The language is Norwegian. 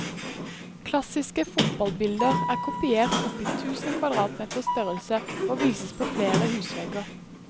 Klassiske fotballbilder er kopiert opp i tusen kvadratmeters størrelse og vises på flere husvegger.